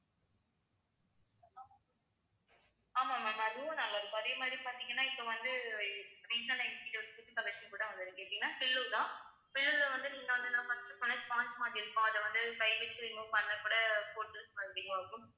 ஆமா ma'am அதுவும் நாங்க அதே மாதிரி பாத்தீங்கன்னா இப்ப வந்து collections கூட வந்துருக்கு எப்படின்னா பில்லு தான் பில்லுல வந்து நீங்க வந்து first உ நான் sponge மாதிரி இருக்கும் அத வந்து remove பண்ணக்கூட இருக்கும்